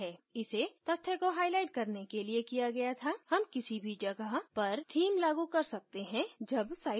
इसे तथ्य को highlight करने के लिए किया गया था हम किसी भी जगह पर theme लागू कर सकते हैं जब site का निर्माण हो रहा है